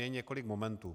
Je několik momentů.